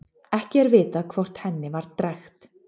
Ekki er vitað hvort henni var drekkt.